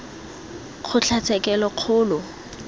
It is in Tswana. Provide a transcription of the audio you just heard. kgotlatshekelokgolo